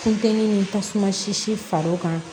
Funteni ni tasuma sisi far'o kan